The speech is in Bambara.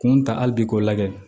Kun ta hali bi k'o lajɛ